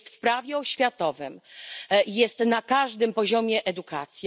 Jest w prawie oświatowym, jest na każdym poziomie edukacji.